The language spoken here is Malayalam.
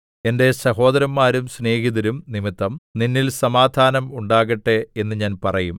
എന്റെ സഹോദരന്മാരും സ്നേഹിതരും നിമിത്തം നിന്നിൽ സമാധാനം ഉണ്ടാകട്ടെ എന്ന് ഞാൻ പറയും